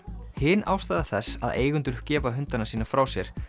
hin ástæða þess að eigendur gefa hundana sína frá sér